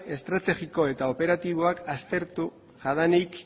estrategiko eta operatiboak aztertu jadanik